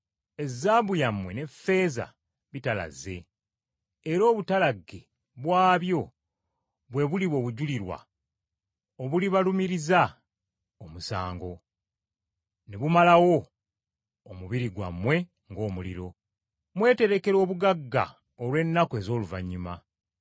Ezaabu yammwe ne ffeeza bitalazze, era obutalagge bwabyo bwe buliba obujulirwa obulibalumiriza omusango, ne bumalawo omubiri gwammwe ng’omuliro. Mweterekera obugagga olw’ennaku ez’oluvannyuma.